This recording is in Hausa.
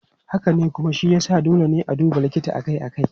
Haka ne, kuma shi ya sa dole ne a duba likita akai-akai.